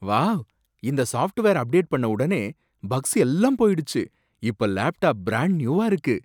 Wow, இந்த software update பண்ணவுடனே bugs எல்லாம் போயிடுச்சு! இப்ப லேப்டாப் பிரான்ட் நியூவா இருக்கு!